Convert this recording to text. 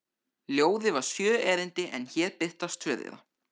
Ljóðið var sjö erindi en hér birtast tvö þeirra: